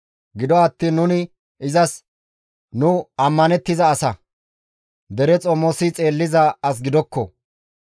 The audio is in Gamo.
Gido attiin nuni izas, ‹Nu ammanettiza asa; dere xomosi xeelliza as gidokko.